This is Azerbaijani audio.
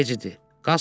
Artıq gec idi.